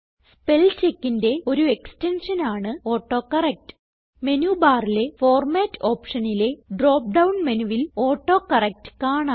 Spellcheckന്റെ ഒരു എക്സ്റ്റെൻഷൻ ആണ് autocorrect menu ബാറിലെ ഫോർമാറ്റ് ഓപ്ഷനിലെ ഡ്രോപ്പ് ഡൌൺ മെനുവിൽ ഓട്ടോകറക്ട് കാണാം